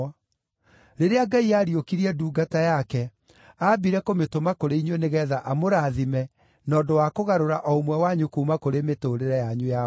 Rĩrĩa Ngai aariũkirie ndungata yake, aambire kũmĩtũma kũrĩ inyuĩ nĩgeetha amũrathime na ũndũ wa kũgarũra o ũmwe wanyu kuuma kũrĩ mĩtũũrĩre yanyu ya waganu.”